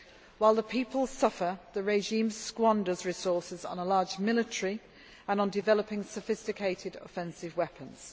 While the people suffer, the regime squanders resources on a large military and on developing sophisticated offensive weapons.